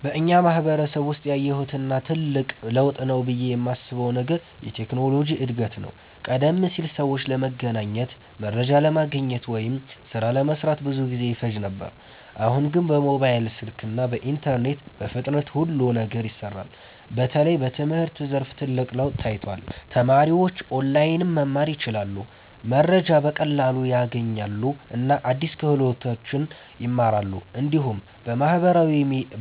በእኛ ማህበረሰብ ውስጥ ያየሁት እና ትልቅ ለውጥ ነው ብዬ የማስበው ነገር የቴክኖሎጂ እድገት ነው። ቀደም ሲል ሰዎች ለመገናኘት፣ መረጃ ለማግኘት ወይም ሥራ ለመስራት ብዙ ጊዜ ይፈጅ ነበር። አሁን ግን በሞባይል ስልክ እና በኢንተርኔት በፍጥነት ሁሉ ነገር ይሰራል። በተለይ በትምህርት ዘርፍ ትልቅ ለውጥ ታይቷል። ተማሪዎች ኦንላይን መማር ይችላሉ፣ መረጃ በቀላሉ ያገኛሉ እና አዲስ ክህሎቶችን ይማራሉ። እንዲሁም